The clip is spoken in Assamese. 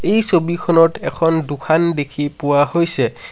এই ছবিখনত এখন দোখান দেখি পোৱা হৈছে।